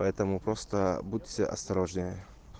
поэтому просто будьте осторожнее